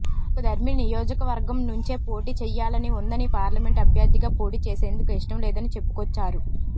తనకు దర్శి నియోజకవర్గం నుంచే పోటీ చెయ్యాలని ఉందని పార్లమెంట్ అభ్యర్థిగా పోటీ చేసేందుకు ఇష్టం లేదని చెప్పుకొచ్చారు